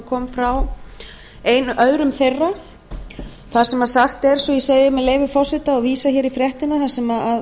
kom frá öðrum þeirra þar sem sagt er svo ég segi með leyfi forseta og vísa hér í fréttina þar sem